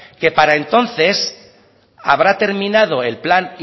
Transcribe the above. que para entonces habrá terminado el plan